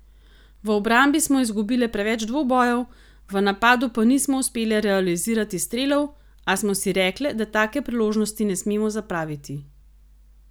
V obrambi smo izgubile preveč dvobojev, v napadu pa nismo uspele realizirati strelov, a smo si rekle, da take priložnosti ne smemo zapraviti.